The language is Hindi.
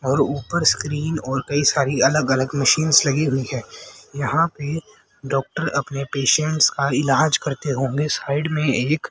और ऊपर स्क्रीन और कई सारी अलग अलग मशीन्स लगी हुई है यहां पे डॉक्टर अपने पेशेंट्स का इलाज करते होंगे साइड में एक--